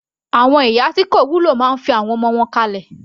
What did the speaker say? Àwọn ìyá tí kò wúlò máa fi àwọn ọmọ wọn kalẹ̀.